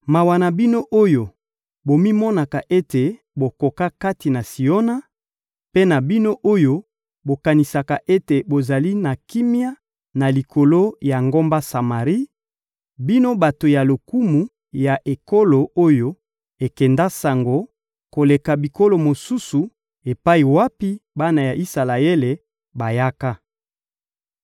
Mawa na bino oyo bomimonaka ete bokoka kati na Siona, mpe na bino oyo bokanisaka ete bozali na kimia na likolo ya ngomba Samari, bino bato ya lokumu ya ekolo oyo ekenda sango koleka bikolo mosusu epai wapi bana ya Isalaele bayaka!